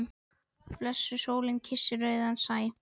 Blessuð sólin kyssir rauðan sæ.